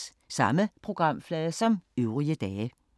Samme programflade som øvrige dage